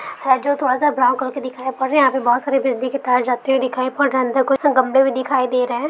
अजो थोड़ासा brown colour का दिखाई पड़ रहा है यहा पे बहुत सारे बिजली के तार जाते हुए दिखाई पड़ रहे है अंदर कुछ गमले भी दिखाई दे है।